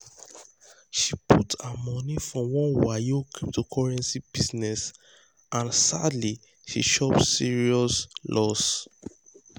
she put her money for one wayo cryptocurrency business and um sadly she chop serious chop serious loss.